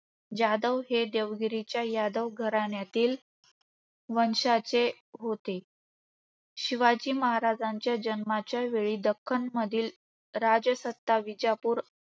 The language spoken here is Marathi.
जाधव हे देवगिरीच्या यादव घराण्यातील वंशाचे होते. शिवाजी महाराजांच्या जन्माच्या वेळी दख्खन मधील राजसत्ता विजापूर